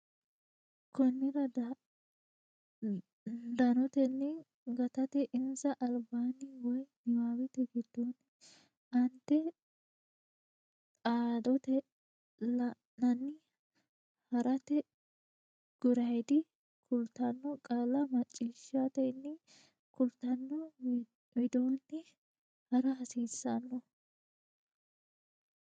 Konnira danotenni gatate insa albaanni woy niwaawete giddonni aante dhaaddote la nanni ha rate guraydi kultanno qaalla macciishshitanni kultanno widoonni ha ra hasiissanno.